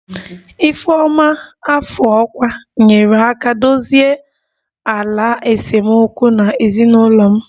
ifeoma afọ ọkwa nyeere aka dozie ala esemokwu na ezinụlọ m